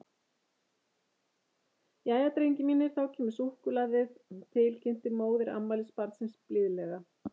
Jæja, drengir mínir, þá kemur súkkulaðið, til kynnti móðir afmælisbarnsins blíðlega.